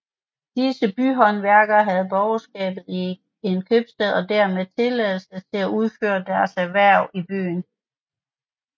Disse byhåndværkere havde borgerskab i en købstad og dermed tilladelse til at udføre deres erhverv i byen